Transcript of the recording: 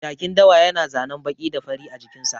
Jakin dawa ya na zanen baƙi da fari a jikin sa